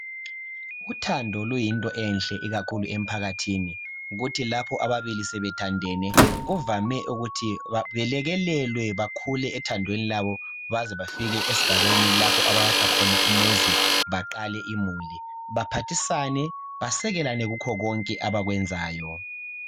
Uthando luyinto enhle ikakhulu emphakathini kuthi lapho ababili sebethandene kuvame ukuthi belekelelwe bakhule ethandweni labo baze bafike esigabeni lapho abayakha khona umuzi baqale imuli baphathisane basekelane kukho konke abakwenzayo.